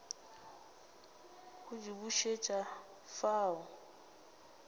go di bušet afa o